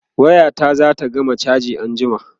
waya ta zata gama chaji anjima